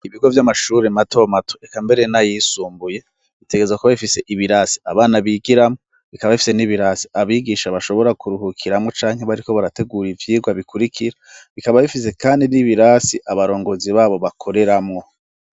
Ibigo vy'amashuri matomato eka mbere n'ayisumbuye bitegerezwa kuba bifise ibirasi abana bigiramwo bikaba bifise n'ibirasi abigisha bashobora kuruhukiramuwo canke bariko barategura ivyigwa bikurikira bikaba bifise kandi n'ibirasi abarongozi babo bakoreramwo.